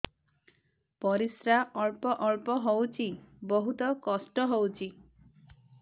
ପରିଶ୍ରା ଅଳ୍ପ ଅଳ୍ପ ହଉଚି ବହୁତ କଷ୍ଟ ହଉଚି